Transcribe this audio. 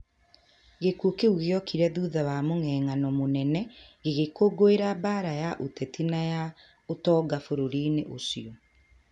Gĩĩko kĩu gĩokire thutha wa mũng'eng'ano mũnene gĩgĩkũngũĩra mbaara ya ũteti na ya ũtonga bũrũri-inĩ ũcio.